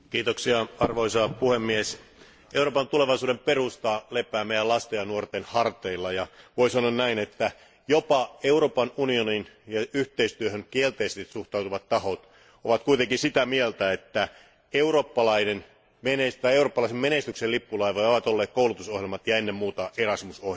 Arvoisa puhemies, Euroopan tulevaisuuden perusta lepää meidän lastemme ja nuortemme harteilla, ja voisi sanoa näin, että jopa Euroopan unionin yhteistyöhön kielteisesti suhtautuvat tahot ovat kuitenkin sitä mieltä, että eurooppalaisen menestyksen lippulaivoja ovat olleet koulutusohjelmat ja ennen muuta Erasmus ohjelma.